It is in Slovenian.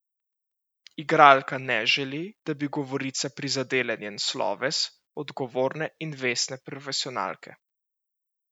Igralka ne želi, da bi govorice prizadele njen sloves odgovorne in vestne profesionalke.